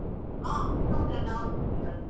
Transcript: ಹಾ, ಬಿಸಿ ಊಟ ಎಲ್ಲ ಹೌದ್ ಸಿಗ್ತದಲ್ಲಿ,